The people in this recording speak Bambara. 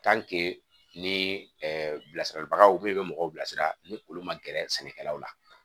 ni bilasiralibagaw de bɛ mɔgɔw bilasira ni olu ma gɛrɛ sɛnɛkɛlaw la